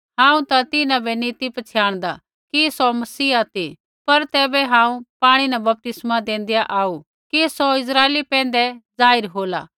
हांऊँ ता तिन्हां बै नैंई ती पछ़ियाणदा कि सौ मसीहा ती पर तैबै हांऊँ पाणी न बपतिस्मा देंदेआ आऊ कि सौ इस्राइला पैंधै जाहिर होला